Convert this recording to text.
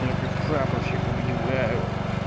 я как прапорщик объявляю